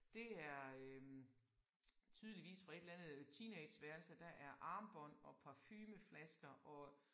Det er øh tydeligvis fra et eller andet øh teenageværelse. Der er armbånd og parfumeflasker og